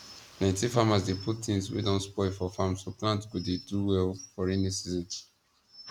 plenty farmers dey put things wey don spoil for farm so plants go dey do well for raining season